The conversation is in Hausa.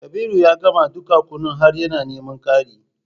Kabiru ya gama dukan kunun har yana neman ƙari